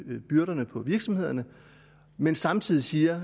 byrderne for virksomhederne men samtidig siger